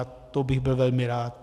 A to bych byl velmi rád.